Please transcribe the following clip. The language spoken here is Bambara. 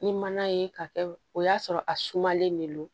Ni mana ye ka kɛ o y'a sɔrɔ a sumalen ne don